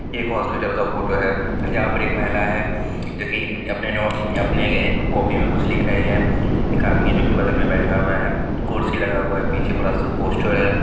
एक हॉस्पिटल का फोटो है यहां पर एक महिला जो कि नो अपने एक कॉपी में कुछ लिख रही है एक आदमी जो बगल में बैठा हुआ है कुर्सी लगा हुआ है पीछे बड़ा सा एक पोस्टर है।